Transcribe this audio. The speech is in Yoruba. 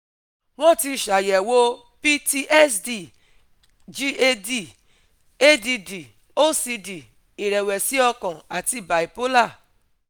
Wọ́n ti ṣàyẹ̀wò PTSD, GAD, ADD, OCD, ìrẹ̀wẹ̀sì ọkàn àti bipolar